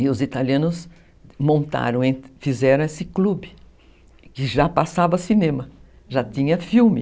E os italianos montaram, fizeram esse clube, que já passava cinema, já tinha filme.